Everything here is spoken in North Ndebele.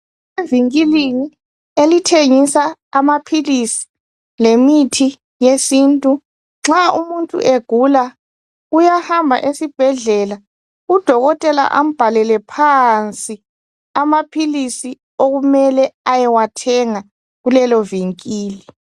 Evinkilini elitshengisa amaphilisi lemithi yesintu nxa umuntu egula uyahamba esibhedlela udokotela ambhalele phansi amaphilisi okumele ayewathenga kuleli vinkili